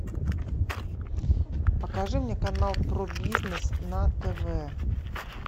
покажи мне канал про бизнес на тв